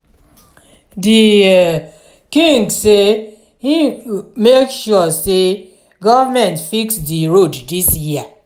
di um king sey im make sure sey government fix di road dis year.